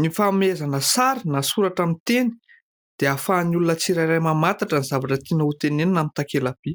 Ny famehezana amin'ny sary, na soratra amin'ny teny, dia ahafahan'ny olona tsirairay mamantatra ny zavatra tiana ho tenenina amin'ny takela-by.